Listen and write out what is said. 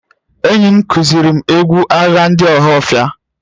Enyim kuzirim egwu agha ndị ohafia